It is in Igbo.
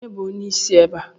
Ònye bụ onyeisi ebe a?